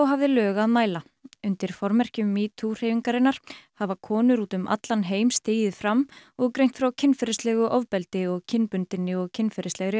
hafði lög að mæla undir formerkjum metoo hreyfingarinnar hafa konur úti um allan heim stigið fram og greint frá kynferðislegu ofbeldi og kynbundinni og kynferðislegri